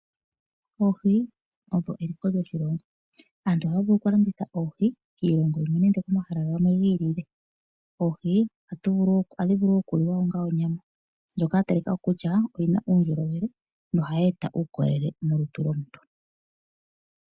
Oohi odho eliko lyoshilongo. Aantu ohaya vulu okulanditha oohi kiilongo yimwe nande pomahala gamwe gi ilile. Oohi ohadhi vulu wo okuliwa onga onyama ndjoka ya talika ko kutya oyi na uundjolowele nohayi eta uukolele molutu lomuntu.